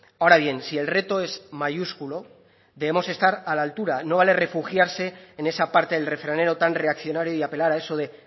ahora bien si el reto es mayúsculo debemos estar a la altura no vale refugiarse en esa parte del refranero tan reaccionario y apelar a eso de